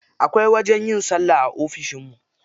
Akwai wajen yin sallah a ofishin mu.